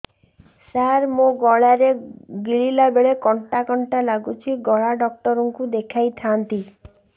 ସାର ମୋ ଗଳା ରେ ଗିଳିଲା ବେଲେ କଣ୍ଟା କଣ୍ଟା ଲାଗୁଛି ଗଳା ଡକ୍ଟର କୁ ଦେଖାଇ ଥାନ୍ତି